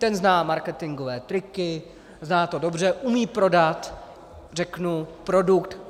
Ten zná marketingové triky, zná to dobře, umí prodat řeknu produkt.